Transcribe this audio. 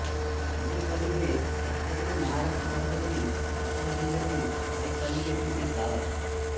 अमृतवाडी हे भारतातील महाराष्ट्र राज्यातील सातारा जिल्ह्यातील वाई तालुक्यातील एक गाव आहे